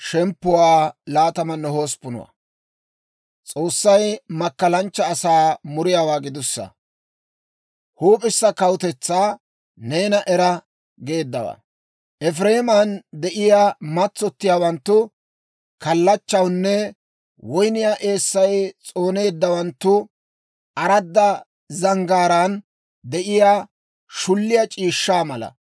Efireeman de'iyaa matsottiyaawanttu kallachchawunne, woyniyaa eessay s'ooneeddawanttu aradda zanggaaraan de'iyaa, shulliyaa c'iishshaa mala gideedda Aa bonchchuwaa puulaw aayye ana!